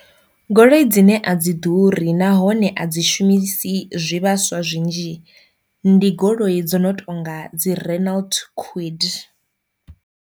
Goloi dzine a dzi ḓuri nahone a dzi shumisi zwivhaswa zwinzhi ndi goloi dzo no tonga dzi Renault kwid.